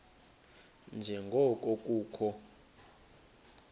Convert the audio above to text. nje ngoko kukho